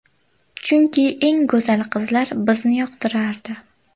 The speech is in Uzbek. Chunki, eng go‘zal qizlar bizni yoqtirardi.